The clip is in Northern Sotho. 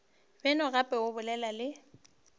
beno gape o bolele le